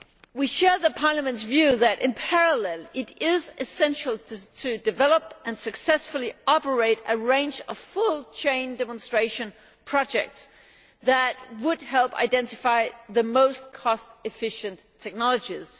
We share Parliament's view that it is essential, in parallel, to develop and successfully operate a range of full chain demonstration projects that would help identify the most cost efficient technologies.